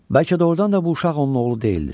Bəlkə doğrudan da bu uşaq onun oğlu deyildi.